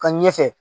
Ka ɲɛfɛ